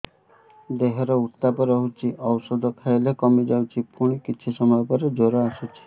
ଦେହର ଉତ୍ତାପ ରହୁଛି ଔଷଧ ଖାଇଲେ କମିଯାଉଛି ପୁଣି କିଛି ସମୟ ପରେ ଜ୍ୱର ଆସୁଛି